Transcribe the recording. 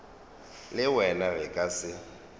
le wena re ka se